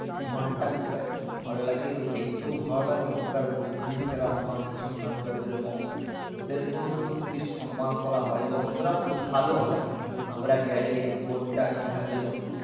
ঘন্টা গুলো বাজাতে খুব ভালো লাগে ঐ হলো দেখতেও ভালো লাগে ওখানকার বুদ্ধি যারা হন সন্নাসিদের ওদের মংক ওদের কেও সত্যি সম্মান করা হয় এবং ওরা খুব ভালো হয় আমরা গেলে কোনটা কিভাবে